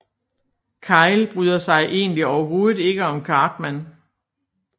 Kyle bryder sig egentlig overhovedet ikke om Cartman